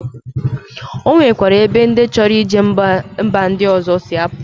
Onwekwere ebe ndi choro ije mba ndi ozo si apu